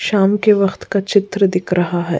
शाम के वक्त का चित्र दिख रहा है।